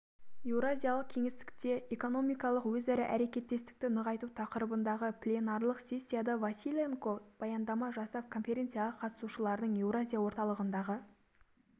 еуразиялық кеңістікте экономикалық өзара әрекеттестікті нығайту тақырыбындағы пленарлық сессияда василенко баяндама жасап конференцияға қатысушыларды еуразия орталығындағы